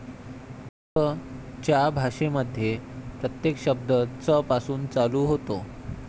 च च्या भाषेमध्ये प्रत्येक शब्द चपासून चालू होतो.